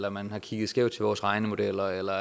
at man har kigget skævt til vores regnemodeller eller